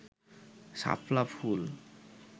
শাপলা ফুল